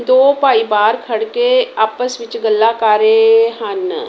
ਦੋ ਭਾਈ ਬਾਹਰ ਖੜਕੇ ਆਪਸ ਵਿੱਚ ਗੱਲਾਂ ਕਰ ਰਹੇ ਹਨ।